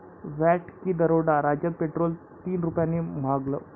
VAT की दरोडा? राज्यात पेट्रोल तीन रुपयांनी महागलं